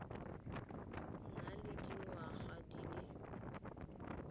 na le dingwaga di le